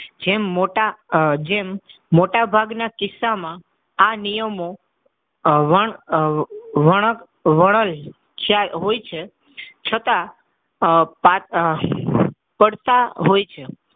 જેમ મોટા આહ જેમ મોટા ભાગના કિસ્સામાં આ નિયમો આહ હોય છે છતાં આહ પડતા હોય છે.